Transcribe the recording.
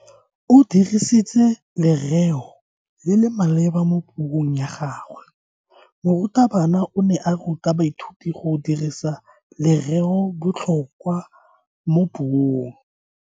O dirisitse lereo le le maleba mo puong ya gagwe. Morutabana o ne a ruta baithuti go dirisa lereobotlhokwa mo puong.